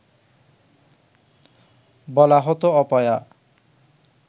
বলা হতো অপয়া